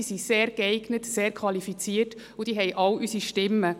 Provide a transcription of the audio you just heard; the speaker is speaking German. Sie sind sehr geeignet und sehr qualifiziert und haben alle unsere Stimmen.